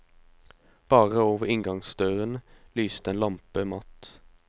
Bare over inngangsdøren lyste en lampe matt.